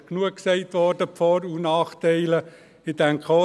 Ich glaube, über die Vor- und Nachteile wurde genug gesagt.